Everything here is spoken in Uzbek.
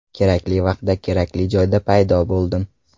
Kerakli vaqtda kerakli joyda paydo bo‘ldim.